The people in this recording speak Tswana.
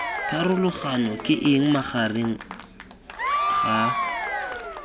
pharologano ke eng magareng ga